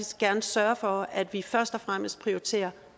gerne sørge for at vi først og fremmest prioriterer